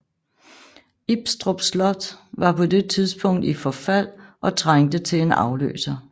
Ibstrup Slot var på det tidspunkt i forfald og trængte til en afløser